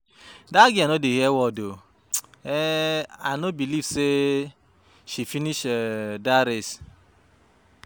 Dat girl no dey hear word oo, um I no believe say she finish um dat race